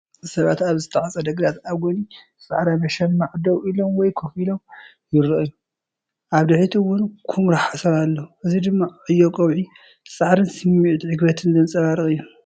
ሰባት ኣብ ዝተዓጽደ ግራት ኣብ ጎኒ ጻዕዳ መሸማዕ ደው ኢሎም ወይ ኮፍ ኢሎም ይረኣዩ። ኣብ ድሕሪት እውን ኵምራ ሓሰር ኣሎ። እዚ ድማ ዕዮ ቀውዒ፡ ጻዕርን ስምዒት ዕግበትን ዘንጸባርቕ እዩ።